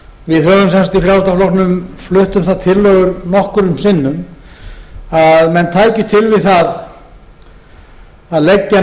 við höfum sem sagt í frjálslynda flokknum flutt um það tillögur nokkrum sinnum að menn tækju til við það að leggja